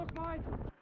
Baqqa!